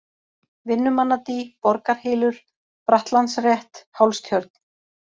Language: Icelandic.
Vinnumannadý, Borgarhylur, Brattlandsrétt, Hálstjörn